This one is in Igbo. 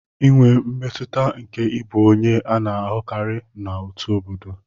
Inwe mmetụta nke ịbụ onye a na-ahụkarị na òtù obodo.